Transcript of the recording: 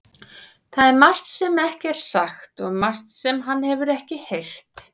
Það er margt sem ekki er sagt og margt sem hann hefur ekki heyrt.